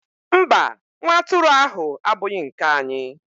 mba, nwa atụrụ ahụ abụghị nke anyị.